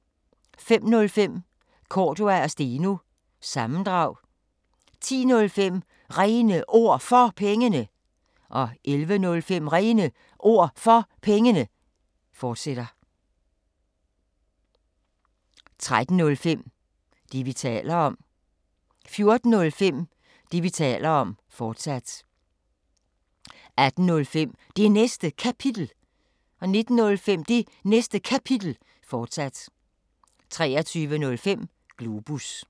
05:05: Cordua & Steno – sammendrag 10:05: René Ord For Pengene 11:05: René Ord For Pengene, fortsat 13:05: Det, vi taler om 14:05: Det, vi taler om, fortsat 18:05: Det Næste Kapitel 19:05: Det Næste Kapitel, fortsat 23:05: Globus